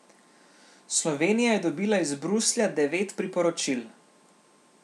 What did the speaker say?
Slovenija je dobila iz Bruslja devet priporočil.